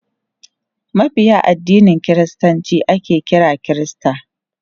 Mabiya addinin kiristanci ake kira kirista.